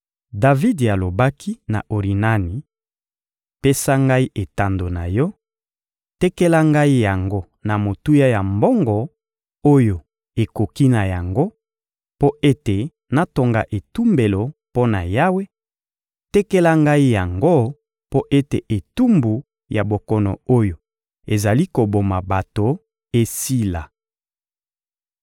Davidi alobaki na Orinani: — Pesa ngai etando na yo, tekela ngai yango na motuya ya mbongo oyo ekoki na yango, mpo ete natonga etumbelo mpo na Yawe; tekela ngai yango mpo ete etumbu ya bokono oyo ezali koboma bato esila.